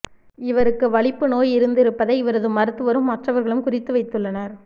இவருக்கு வலிப்பு நோய் இருந்திருப்பதை இவரது மருத்துவரும் மற்றவர்களும் குறித்து வைத்துள்ளனர்